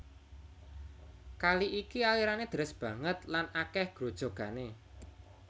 Kali iki alirané deres banget lan akèh grojogané